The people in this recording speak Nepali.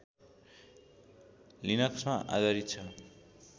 लिनक्समा आधारित छ